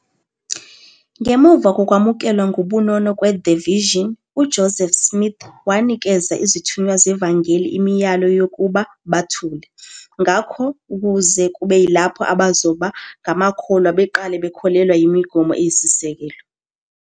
Ngemuva kokwamukelwa ngobunono kwe- "the Vision", uJoseph Smith wanikeza izithunywa zevangeli imiyalo yokuba "bathule" ngakho, kuze kube yilapho abazoba ngamakholwa beqale bakholelwa imigomo eyisisekelo.